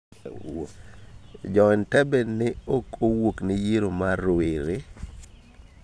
Joentebbe ne ok owuokne yiero mar rowere.